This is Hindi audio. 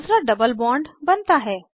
दूसरा डबल बॉन्ड बनता है